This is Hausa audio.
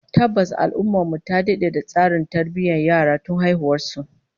Tabbas, al'ummar mu ta dade da tsarin tarbiyyar yara tun haihuwar su